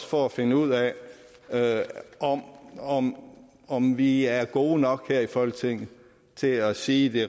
for at finde ud af om om vi er gode nok her i folketinget til at sige det